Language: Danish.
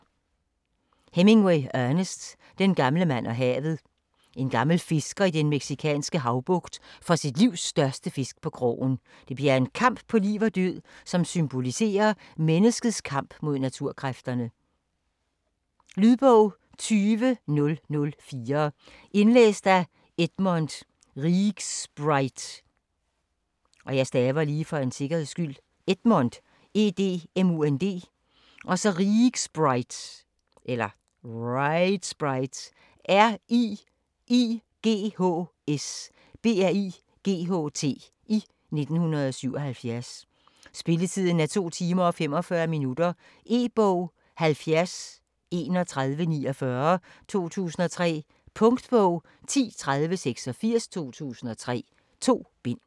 Hemingway, Ernest: Den gamle mand og havet En gammel fisker i den mexikanske havbugt får sit livs største fisk på krogen. Det bliver en kamp på liv og død, som symboliserer menneskets kamp mod naturkræfterne. Lydbog 20004 Indlæst af Edmund Riighsbright, 1977. Spilletid: 2 timer, 45 minutter. E-bog 703149 2003. Punktbog 103086 2003. 2 bind.